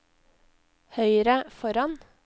høyre foran